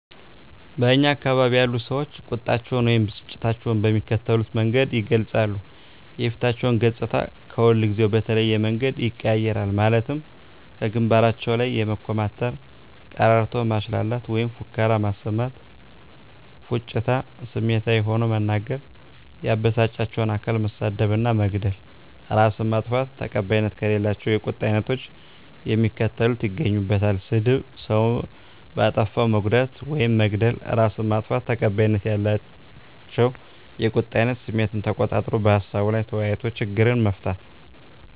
በእኛ አካባቢ ያሉ ሰዎች ቁጣቸውን ወይም ብስጭታቸውን በሚከተሉት መንገድ ይገልጻሉ:- የፊታቸው ገፅታ ከሁልጊዜው በተለየ መንገድ ይቀያየራል ማለትም ከግንባራቸው ላይ የመኮማተር፤ ቀረርቶ ማሽላላት ወይም ፉከራ ማሰማት፤ ፉጭታ፤ ስሜታዊ ሆኖ መናገር፤ ያበሳጫቸውን አካል መሳደብ እና መግደል፤ እራስን ማጥፋት። ተቀባይነት ከሌላቸው የቁጣ አይነቶች የሚከተሉት ይገኙበታል -ስድብ፤ ሰውን በአጠፋው መጉዳት ውይም መግደል፤ እራስን ማጥፋት። ተቀባይነት ያላቸው የቁጣ አይነት ስሜትን ተቆጣጥሮ በሀሳቡ ላይ ተወያይቶ ችግርን መፍታት።